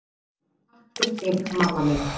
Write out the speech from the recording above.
Takk fyrir þig, mamma mín.